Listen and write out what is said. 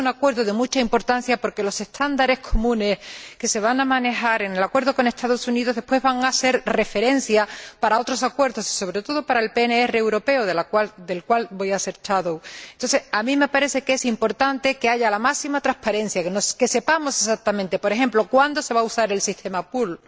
Y es un acuerdo de mucha importancia, porque los estándares comunes que se van a manejar en el acuerdo con los Estados Unidos después van a ser referencia para otros acuerdos, y sobre todo para el PNR europeo, del cual voy a ser ponente alternativa. A mí me parece que es importante que haya la máxima transparencia, que sepamos exactamente, por ejemplo, cuándo se va a usar el sistema pull,